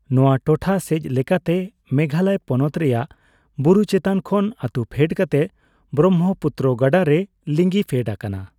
ᱱᱚᱣᱟ ᱴᱚᱴᱷᱟ ᱥᱮᱡ ᱞᱮᱠᱟ ᱛᱮ ᱢᱮᱜᱷᱟᱞᱚᱭ ᱯᱚᱱᱚᱛ ᱨᱮᱭᱟᱜ ᱵᱩᱨᱩ ᱪᱮᱛᱟᱱ ᱠᱷᱚᱱ ᱟᱹᱛᱩ ᱯᱷᱮᱰ ᱠᱟᱛᱮ ᱵᱨᱟᱦᱢᱚ ᱯᱩᱛᱨᱚ ᱜᱟᱰᱟ ᱨᱮ ᱞᱤᱝᱜᱤ ᱯᱷᱮᱰ ᱟᱠᱟᱱᱟ।